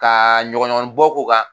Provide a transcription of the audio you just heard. Ka ɲɔgɔnɲɔgɔn bɔ ko kan